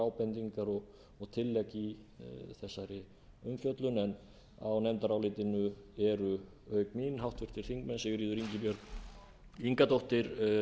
ábendingar og tillegg í þessari umfjöllun á nefndarálitinu eru auk mín háttvirtir þingmenn sigríður ingibjörg ingadóttir